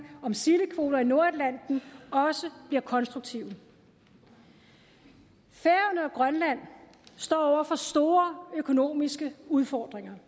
om sildekvoter i nordatlanten også bliver konstruktive færøerne og grønland står over for store økonomiske udfordringer